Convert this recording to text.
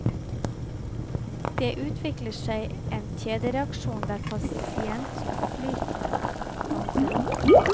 Det utvikler seg en kjedereaksjon der pasientflyten stanser opp.